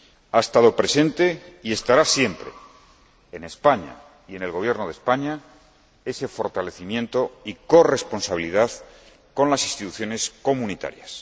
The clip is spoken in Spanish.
Ha estado presente y estará siempre, en España y en el Gobierno de España, ese fortalecimiento y corresponsabilidad con las instituciones comunitarias.